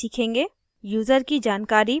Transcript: हम निम्न के बारे में सीखेंगे